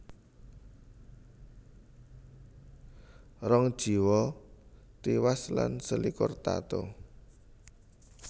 Rong jiwa tiwas lan selikur tatu